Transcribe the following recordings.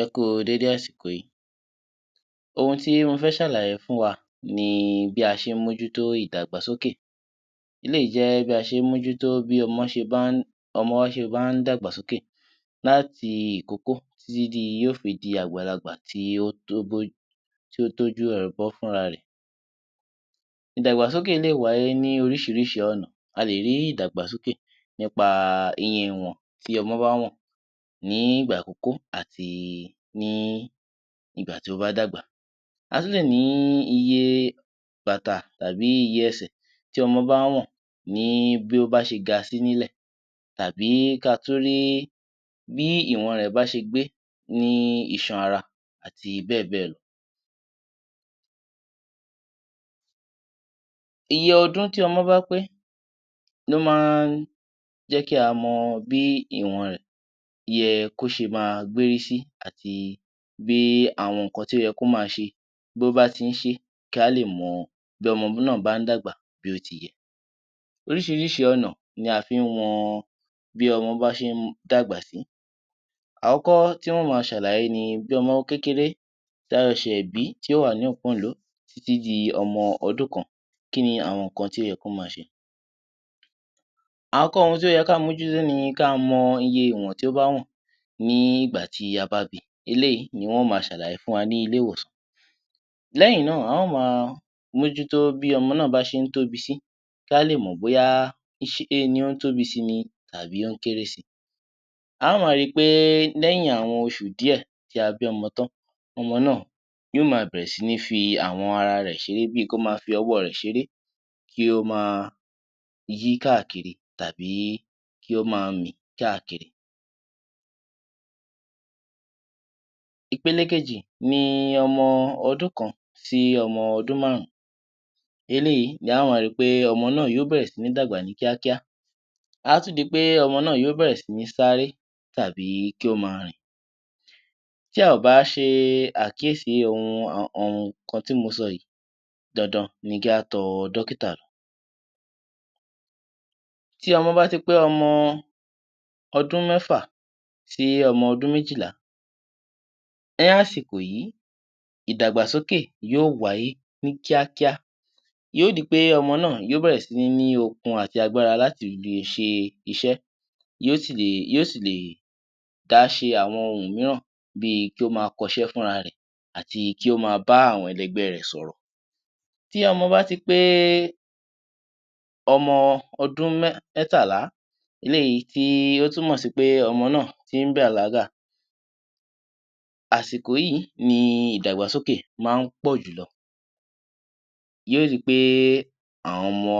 Ẹ kú dédé àsìkò yìí, ohun tí mo fẹ́ ṣàlàyé fún wa ni bí a ṣe ń mójútó ìdàgbàsókè. Eléyìí jẹ́ bí a ṣe ń mójútó bí ọmọ ṣe bá ń ọmọ ṣe bá ń dàgbà sókè láti ìkókó títí yóò fi di àgbàlagbà tí ó tójú ara rẹ̀ bọ́ fún ra rẹ̀. Ìdàgbàsókè lè wá yé ní oríṣiríṣi ọ̀nà, a lè rí ìdàgbàsókè nípa ìwọ̀n ìyẹn tí ọmọ bá wọ̀n nígbà ìkókó àti nígbà tí ó bá dàgbà, a tún lè ní iye bàtà tàbí iye ẹsẹ̀ tí ọmọ bá wọ̀n ní bí ó bá ṣe ga sí nílẹ̀ tàbí kí a tún rí bí ìwọn rẹ̀ bá ṣe gbé ní iṣan ara àti bẹ́ẹ̀ bẹ́ẹ̀ lọ. Iye ọdún tí ọmọ bá pé ló máa ń jẹ́ kí a mọ bí ìwọn rẹ̀ yẹ́ kó ma gbé rí sí àti bí àwọn nǹkan tí ó yẹ kí ó ma ṣe bó bá tí ń ṣe kí a lè mọ̀ bí ọmọ náà bá ń dàgbà bí ó ti yẹ. Oríṣiríṣi ọ̀nà ni a fín wọn tí ọmọ bá ṣe ń dàgbà sí, àkọ́kọ́ tí mó ma ṣàlàyé ni bí ọmọ kékeré tí a ṣẹ̀ṣẹ̀ bí tí um títí di ọmọ ọdún kan, kí ni àwọn nǹkan tí ó yẹ kí ó má ṣe, àkọ́kọ́ ohun tí ó yẹ kí a mójútó ni kí a mọ iye iwọ̀n tí ó bá wọ̀n nígbà tí a bá bi eléyìí ni wọ́n á ma ṣàlàyé fún wa ní ilé-ìwòsàn lẹ́yìn náà, a ó ma mójútó bí ọmọ náà bá ṣe ń tóbi sí kí a lè mọ̀ bóyá ó tóbi si ni tàbí ó ń kéré si, a ó ma ri pé lẹ́yìn àwọn oṣù díẹ̀ tí a bí ọmọ tán ọmọ náà á bẹ̀rẹ̀ si ni fi àwọn ara rẹ̀ ṣeré bí kí ó má fí owó rẹ̀ ṣeré kí ó ma yí káàkiri tàbí kí ó ma mì káàkiri. Ìpélė kejì ni ọmọ ọdún kan sí ọmọ ọdún márùn-ún eléyìí ni á ó ma rí pé ọmọ náà yóò bẹ̀rẹ̀ sí ní dàgbà ní kíákíá á tún di pé ọmọ náà a bẹ̀rẹ̀ si ní sáré tàbí kí ó ma rìn. Tí a ò bá ṣe àkíyèsí fún àwọn nǹkan tí mo sọ yìí dandan ni kí a tọ dókítà lọ. Tí ọmọ bá tí pé ọmọ ọdún mẹ́fà sí ọmọ ọdún méjìlá ní àsìkò yìí ìdàgbàsókè yóò wáyé ní kíákíá yóò di pé ọmọ náà yóò bẹ̀rẹ̀ sí ní okun àti agbára láti lè ṣe iṣẹ́ yóò sì lè dá ṣe àwọn nǹkan mìíràn bí kí ó má kọ iṣẹ́ fúnra rẹ̀ àti kí ó má bá àwọn ẹlẹgbẹ́ rẹ̀ sọ̀rọ̀. Tí ọmọ bá tí pé ọmọ ọdún mẹ́tàlá, eléyìí tí ó túmọ̀ sí pé ọmọ náà tí ń bàlágà, àsìkò yìí ni ìdàgbàsókè máa ń pọ̀jù lọ yóò di pé àwọn ọmọ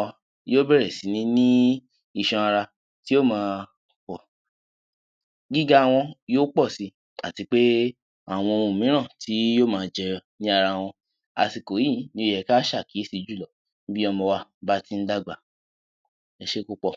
yóò bẹ̀rẹ̀ sí ní isan ara tí yóò ma pọ̀ gíga wọn yóò pọ̀ si àti pé àwọn ohun mìíràn tí yóò bá jẹ́ ní ara wọn àsìkò yìí ló yẹ kí a ṣe àkíyèsí jù lọ bí ọmọ wa bá ti ń dàgbà. Ẹ ṣé púpọ̀.